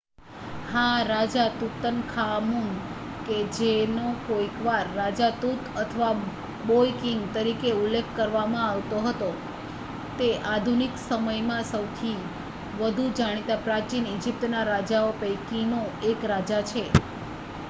"હા! રાજા તુતનખામુન કે જેનો કોઈકવાર "રાજા તુત" અથવા "બોય કિંગ" તરીકે ઉલ્લેખ કરવામાં આવતો હતો તે આધુનિક સમયમાં સૌથી વધુ જાણીતા પ્રાચીન ઈજીપ્તના રાજાઓ પૈકીનો એક રાજા છે.